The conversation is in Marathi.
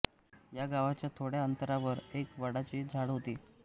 या गावाच्या थोड्या अंतरावर एक वाडाचे झाड होते